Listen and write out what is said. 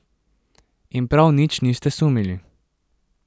In prav nič niste sumili.